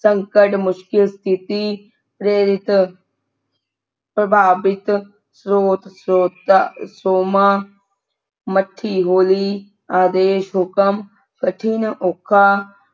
ਸੰਕਟ ਮੁਸ਼ਕਿਲ ਸਤਿਥੀ ਪ੍ਰੇਰਿਤ ਪ੍ਰਭਾਵਿਤ ਸਰੋਤਾ ਸੋਮਾਂ ਮੱਠੀ ਹੌਲੀ ਆਦੇਸ਼ ਹੁਕਮ ਕਠਿਨ ਔਖਾ